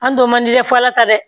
An don man di dɛ f'a ta dɛ